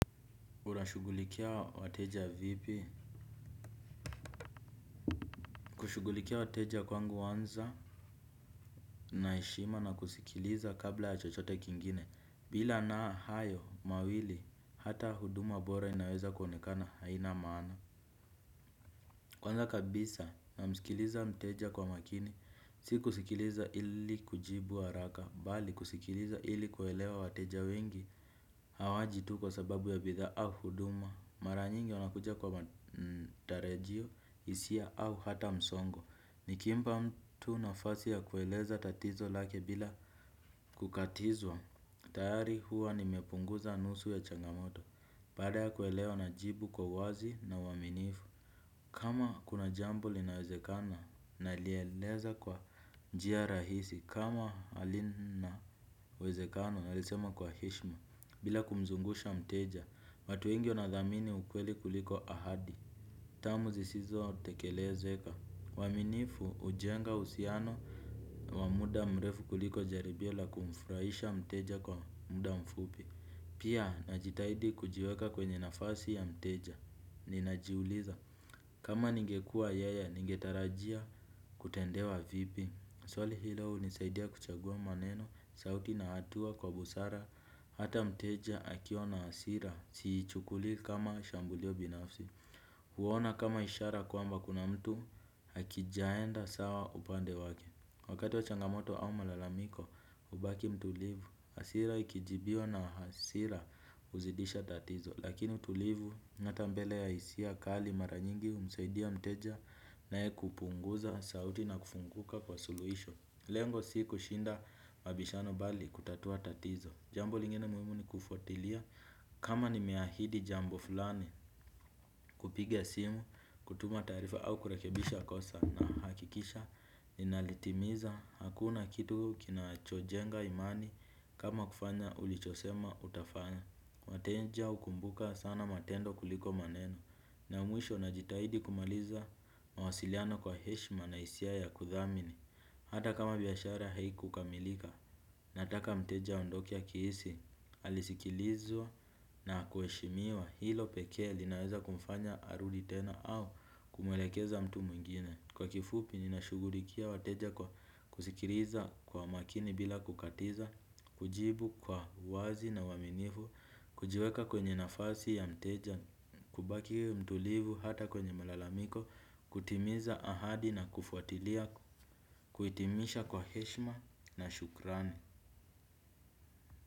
Unashughulikia wateja vipi? Kushughulikia wateja kwangu huanza na heshima na kusikiliza kabla ya chochote kingine bila na hayo mawili hata huduma bora inaweza kuonekana haina maana. Kwanza kabisa namsikiliza mteja kwa makini si kusikiliza ili kujibu haraka bali kusikiliza ili kuelewa wateja wengi. Hawaji tu kwa sababu ya bidhaa au huduma. Mara nyingi wanakuja kwa matarajio, hisia au hata msongo. Nikimpa mtu nafasi ya kueleza tatizo lake bila kukatizwa tayari huwa nimepunguza nusu ya changamoto. Baada ya kuelewa najibu kwa uwazi na uaminifu. Kama kuna jambo linawezekana nalieleza kwa njia rahisi kama halina uwezekano nalisema kwa heshima. Bila kumzungusha mteja, watu wengi wanathamini ukweli kuliko ahadi. Termu zisizotekelezeka, uaminifu hujenga uhusiano wa muda mrefu kuliko jaribio la kumfurahisha mteja kwa muda mfupi. Pia najitahidi kujiweka kwenye nafasi ya mteja. Ninajiuliza kama ningekua yeye, ningetarajia kutendewa vipi? Swali hilo hunisaidia kuchagua maneno, sauti na hatua kwa busara, hata mteja akiwa na hasira, siichukuli kama shambulio binafsi. Huona kama ishara kwamba kuna mtu hakijaenda sawa upande wake. Wakati wa changamoto au malalamiko, hubaki mtulivu, hasira ikijibiwa na hasira huzidisha tatizo. Lakini utulivu n hata mbele ya hisia kali mara nyingi humsaidia mteja naye kupunguza sauti na kufunguka kwa suluisho. Lengo si kushinda mabishano bali kutatua tatizo. Jambo lingine muhimu ni kufuatilia kama nimeahidi jambo fulani, kupiga simu, kutuma taarifa au kurekebisha kosa nahakikisha. Ninalitimiza, hakuna kitu kinachojenga imani kama kufanya ulichosema utafanya. Wateja hukumbuka sana matendo kuliko maneno na ya mwisho najitahidi kumaliza mawasiliano kwa heshima na hisia ya kuthamini. Hata kama biashara haikukamilika. Nataka mteja aondoke akihisi alisikilizwa, na kuheshimiwa. Hilo pekee linaweza kumfanya arudi tena au kumwelekeza mtu mwingine. Kwa kifupi ninashughulikia wateja kwa kusikiliza kwa makini bila kukatiza, kujibu kwa uwazi na uaminifu, kujiweka kwenye nafasi ya mteja, kubaki mtulivu hata kwenye malalamiko, kutimiza ahadi na kufuatilia, kuhitimisha kwa heshima na shukrani.